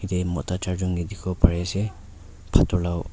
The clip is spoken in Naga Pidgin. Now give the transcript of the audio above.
t mota charjon dekhi bu pari ase atu lao.